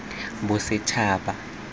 bosetshaba